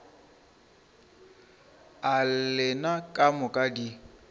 a lena ka moka di